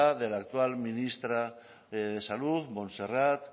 de la actual ministra de salud montserrat